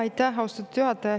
Aitäh, austatud juhataja!